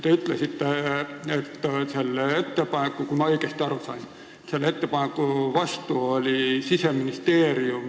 Te ütlesite, kui ma õigesti aru sain, et selle ettepaneku vastu oli Siseministeerium.